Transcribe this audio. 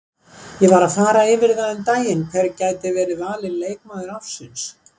Ég var að fara yfir það um daginn hver gæti verið valinn leikmaður ársins.